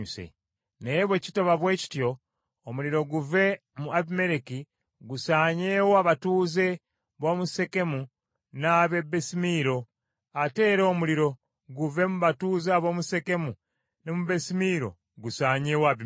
Naye bwe kitaba bwe kityo, omuliro guve mu Abimereki, gusaanyeewo abatuuze b’omu Sekemu n’ab’e Besimiiro, ate era omuliro guve mu batuuze ab’omu Sekemu ne mu Besimiiro gusaanyeewo Abimereki.”